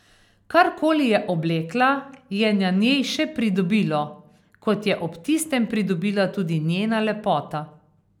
Karkoli je oblekla, je na njej še pridobilo, kot je ob tistem pridobila tudi njena lepota.